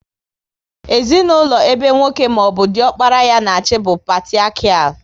Ezinaụlọ ebe nwoke maọbụ diokpara ya na achị bụ patiriakial